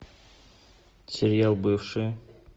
сериал бывшие